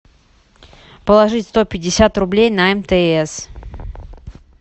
положить сто пятьдесят рублей на мтс